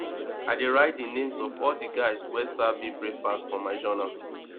i dey write di names of all di guys wey serve me breakfast for my journal